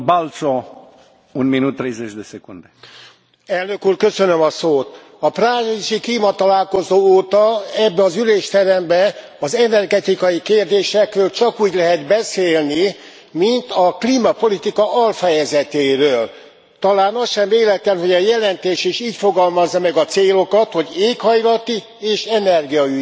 Elnök Úr, a párizsi klímatalálkozó óta ebben az ülésteremben az energetikai kérdésekről csak úgy lehet beszélni, mint a klímapolitika alfejezetéről. Talán az sem véletlen, hogy a jelentés is így fogalmazza meg a célokat, hogy éghajlati és energiaügyi miközben a villamosenergia piacról van szó.